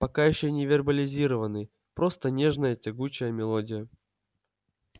пока ещё не вербализированный просто нежная тягучая мелодия